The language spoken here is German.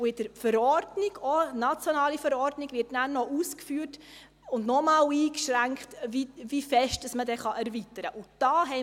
Und in der RPV – auch eine nationale Verordnung – wird ausgeführt und noch einmal eingeschränkt, wie stark man erweitern darf.